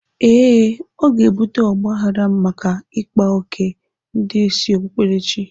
Ee, ọ ga-ebute ọgbaghrara maka ịkpa oké ndị isi okpukperechi.